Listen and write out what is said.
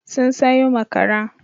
Sun sayo makara.